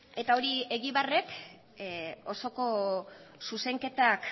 eta hori egibarrek osoko zuzenketak